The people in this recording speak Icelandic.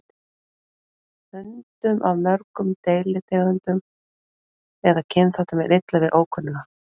Hundum af mörgum deilitegundum eða kynþáttum er illa við ókunnuga.